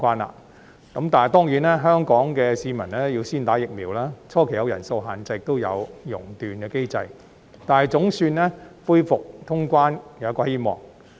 可是，當然，香港市民要先接種疫苗，初期會有人數限制，亦有熔斷機制，但恢復通關總算帶來希望。